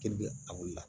Keli bɛ a boli la